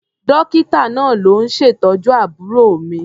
Dọ́kítà náà ló ń ṣètọ́jú àbúrò mi.